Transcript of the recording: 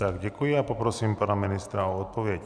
Tak, děkuji a poprosím pana ministra o odpověď.